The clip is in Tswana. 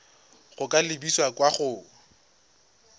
go ka lebisa kwa go